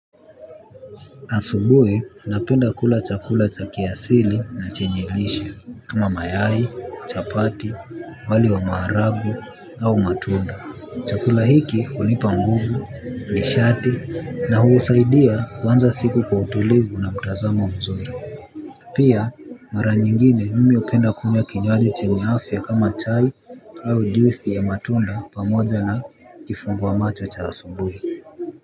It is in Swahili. Asubuhi napenda kula chakula cha kiasili na chenye lishe, kama mayai, chapati, wali wa maharagwe au matunda. Chakula hiki hunipa nguvu, nishati na husaidia kuanza siku kwa utulivu na mtazamo mzuri. Pia, mara nyingine mimi hupenda kunywa kinywaji chenye afya kama chai au juisi ya matunda pamoja na kifungua macho cha asubuhi.